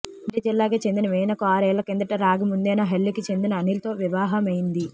మండ్య జిల్లాకే చెందిన వీణకు ఆరేళ్ల కిందట రాగిముద్దేనహళ్లికి చెందిన అనిల్ తో వివాహమైంది